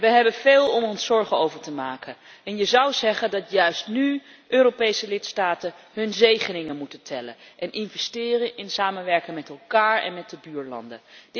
We hebben veel om ons zorgen over te maken en je zou zeggen dat juist nu Europese lidstaten hun zegeningen moeten tellen en investeren in samenwerking met elkaar en met de buurlanden.